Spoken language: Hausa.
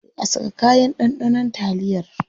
Sai a saka kayan ɗanɗanon taliyar.